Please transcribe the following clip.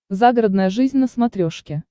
загородная жизнь на смотрешке